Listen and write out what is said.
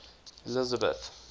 elizabeth